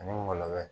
Ani gɔlɔlɔ